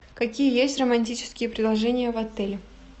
какие есть романтические предложения в отеле